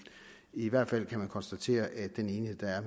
i hvert fald kan man konstatere at den enighed der er